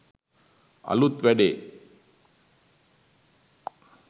අලුත් වැඩේ